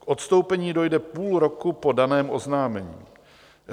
K odstoupení dojde půl roku po daném oznámení.